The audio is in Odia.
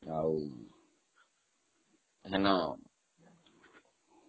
ଆଉ ସେଦିନ